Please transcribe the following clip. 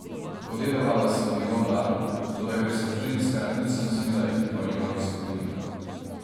Podedovala sem njegov dar, toda ker sem ženska, nisem smela iti po njegovih stopinjah.